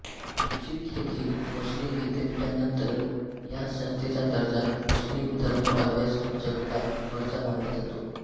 Egypt येथील मुस्लिम विद्यापीठानंतर या संस्थेचा दर्जा मुस्लिम धर्म अभ्यास जगतात वरचा मानला जातो